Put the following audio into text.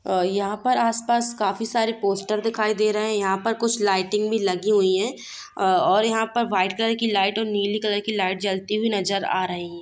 ओर यहाँ पर आस-पास काफी सारे पोस्टर दिखाई दे रहे हैं| यहाँ पर कुछ लाइटिंग भी लगी हुई है और यहाँ पर व्हाइट कलर की लाइट और नीली कलर की लाइट जलती हुई नजर आ रही है ।